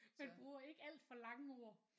Man bruger ikke alt for lange ord